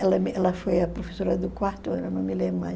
Ela ea foi a professora do quarto ano, eu não me lembro mais.